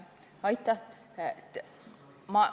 Aitäh!